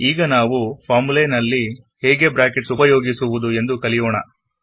ಈಗ ನಾವು ಫಾರ್ಮುಲಾದಲ್ಲಿ ಹೇಗೆ ಬ್ರಾಕೆಟ್ಸ್ ಉಪಯೋಗಿಸುವುದು ಎಂದು ಕಲಿಯೋಣ